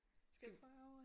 Skal vi prøve at?